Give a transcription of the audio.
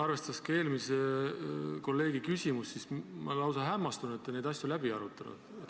Arvestades eelmise kolleegi küsimust, siis ma olen lausa hämmastunud, et te neid asju läbi ei arutanud.